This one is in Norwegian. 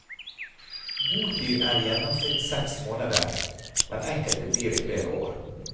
Botid er i gjennomsnitt seks måneder, men enkelte blir i flere år.